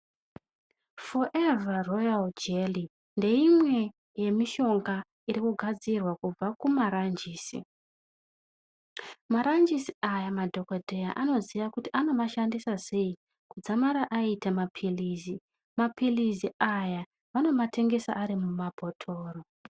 Forever royal jelly ndeimwe yemishonga inogadzirwa kubva kumaranjisi Maranjisi aya madhokodheya Anoziva kuti vanomashandisa sei Kudzamara aita mapirizi mapirizi aya vanomatengesa ari mabhotoro.